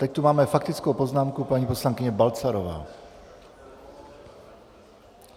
Teď tu máme faktickou poznámku paní poslankyně Balcarové.